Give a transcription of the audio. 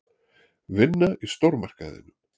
Vinna í stórmarkaðinum.